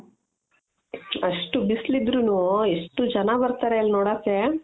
ಅಷ್ಟು ಬಿಸ್ಲು ಇದ್ರುನು ಎಷ್ಟು ಜನ ಬರ್ತಾರೆ ಅಲ್ಲಿ ನೋಡೋಕೆ .